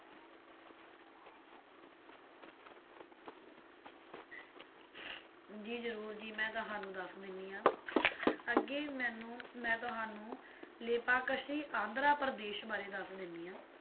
ਜੀ ਜਰੂਰ ਜੀ ਮੈਂ ਤੁਹਾਨੂੰ ਦੱਸ ਦੇਣੀ ਆ ਅਹ ਅੱਗੇ ਮੈਨੂੰ ਮੈਂ ਤੁਹਾਨੂੰ ਲੇਪਾਕਸ਼ੀ ਆਂਧਰਾ ਪ੍ਰਦੇਸ਼ ਬਾਰੇ ਦੱਸ ਦੇਣੀ ਆ